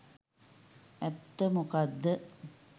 ඇත්ත මොකද්ද